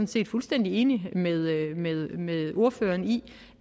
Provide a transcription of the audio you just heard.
set fuldstændig enig med ordføreren i